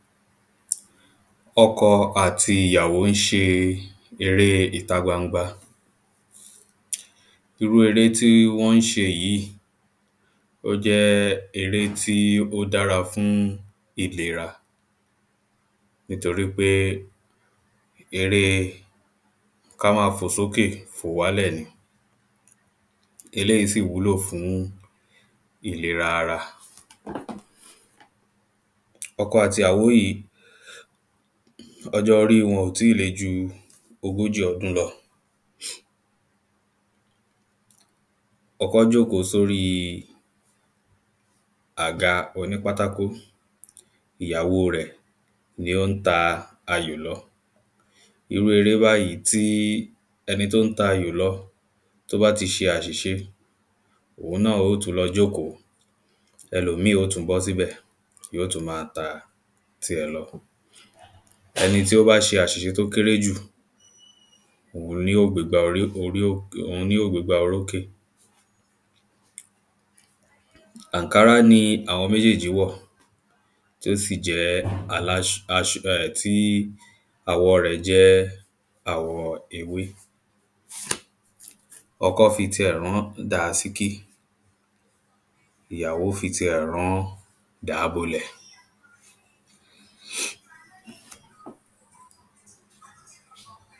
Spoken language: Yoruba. Ọkọ àti ìyàwó ń ṣe eré ìta gbangba. Irú eré tí wọ́n ń ṣe yìí ó jẹ́ eré tí ó dára fún ìlera nítorípé eré ká má fò sókè fò wálẹ̀ ni eléèyí sì wúlò fún ìlera ara. Ọkọ àti ìyàwó yìí ọjọ́ orí wọn ò tí le ju ogójì ọdún lọ. Ọkọ jóòkó sórí àga onípátákó. Ìyàwó rẹ̀ ni ó ń ta ayò lọ. Irú eré báàyí tí ẹni tó ń tayò lọ tó bá ti ṣe àṣìṣe òun náà ó tún lọ jóòkó ẹlòómì ó tún bọ́ síbẹ̀ yóò tún má ta ti ẹ̀ lọ. Ẹni tó bá ti ṣe àṣìṣe tó kéré jù òun ni yóò gbégbá orí orí ó òun ni ó gbégbá orókè. Ànkárá ni àwọn méjèèjì wọ̀ tí ó sì jẹ́ aláṣ aṣ um tí àwọ̀ rẹ̀ jẹ́ àwọ ewé. Ọkọ́ fi ti ẹ̀ rán dànsíkí. Ìyàwó fi ti ẹ̀ rán dàábolẹ̀.